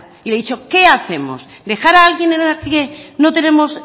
y le he dicho qué hacemos dejar a alguien en la que no tenemos